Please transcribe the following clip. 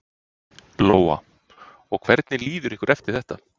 Lóa: Og hvernig líður ykkur eftir þetta?